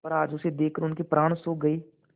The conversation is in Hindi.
पर आज उसे देखकर उनके प्राण सूख गये